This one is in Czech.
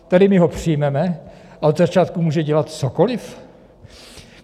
Tady my ho přijmeme a od začátku může dělat cokoliv?